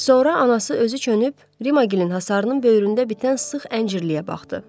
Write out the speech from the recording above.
Sonra anası özü çönüb Rimagilin hasarının böyründə bitən sıx əncirliyə baxdı.